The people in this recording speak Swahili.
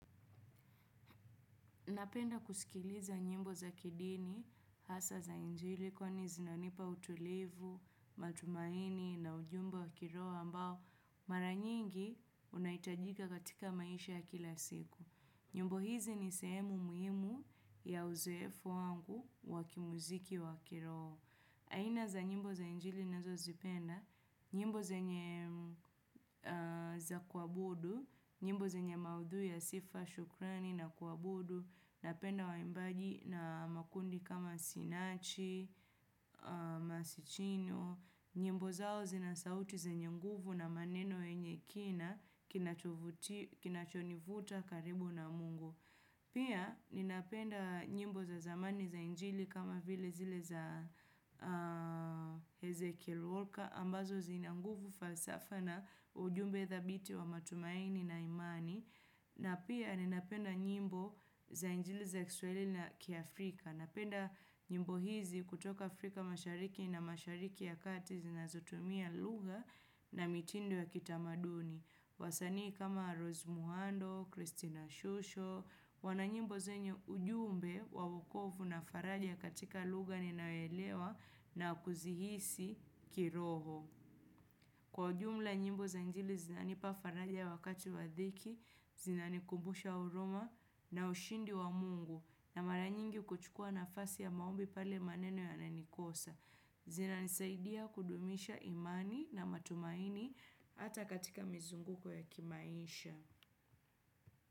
Napenda kuskiliza nyimbo za kidini hasa za injili kwa ni zinanipa utulivu, matumaini na ujumbe wa kiroho ambao mara nyingi unahitajika katika maisha ya kila siku. Nyimbo hizi ni sehemu muhimu ya uzoefu wangu wakimuziki wa kiroho. Aina za nyimbo za injili nazo zipenda, nyimbo ze nye za kuabudu, nyimbo zenye maudhui ya sifa, shukrani na kuabudu, napenda wa imbaji na makundi kama sinachi, masichino, nyimbo zao zinasauti zenye nguvu na maneno yenye kina kinachovuti kinachonivuta karibu na mungu. Pia ninapenda nyimbo za zamani za injili kama vile zile za Ezekiel Walker ambazo zinanguvu falsafa na ujumbe thabiti wa matumaini na imani. Na pia ninapenda nyimbo za injili za kiswahili na kia Afrika. Napenda nyimbo hizi kutoka Afrika mashariki na mashariki ya kati zinazotumia lugha na mitindo ya kitamaduni. Wasanii kama Rose Muhando, Christina Shusho, wananyimbo zenye ujumbe wa wokovu na faraja katika lugha ninayoelewa na kuzihisi kiroho. Kwa ujumla nyimbo za injili zinani pa faraja wakati wadhiki, zinani kumbusha huruma na ushindi wa mungu na maranyingi kuchukua na fasi ya maombi pale maneno ya nanikosa. Zina nisaidia kudumisha imani na matumaini hata katika mizungu ko ya kimaisha.